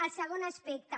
el segon aspecte